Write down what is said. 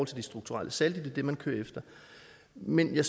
til de strukturelle saldi det er det man kører efter men jeg